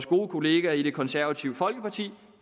gode kollegaer i det konservative folkeparti